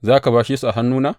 Za ka bashe su a hannuna?